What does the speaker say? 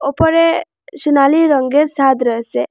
উপরে সোনালী রঙ্গের ছাদ রয়েছে।